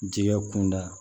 Jɛgɛ kun da